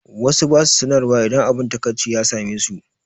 Wasu ba su sanarwa idan abun takaici ya same su.